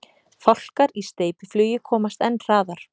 Fálkar í steypiflugi komast enn hraðar.